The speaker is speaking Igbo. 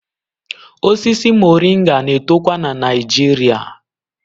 Osisi Moringa na-etokwa na Naịjirịa